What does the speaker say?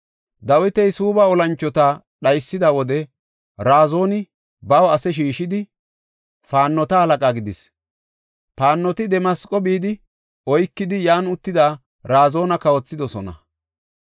Dawiti Suubba olanchota dhaysida wode Razooni baw ase shiishidi paannota halaqa gidis. Paannoti Damasqo bidi, oykidi yan uttidi Razoona kawothidosona.